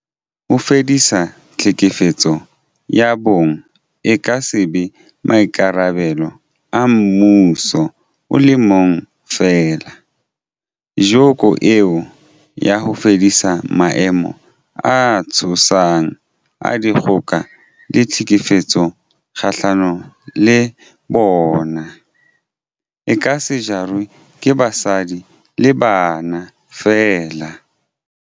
Ho fedisa tlhekefetso ya bong e ka se be maikarabelo a mmuso o le mong feela, joko eo ya ho fedisa maemo a tshosang a dikgoka le tlhekefetso kgahlano le bona, e ka se jarwe ke basadi le bana feela.